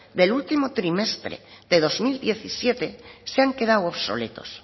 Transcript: del último trimestre de dos mil diecisiete se han quedado obsoletos